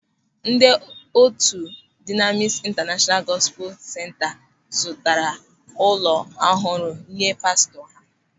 Ndị otu Dụnamịs Intanashọnalu Gọspul Senta zụtara ụlọ ọhụrụ nye pastọ ha.